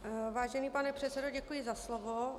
Vážený pane předsedo, děkuji za slovo.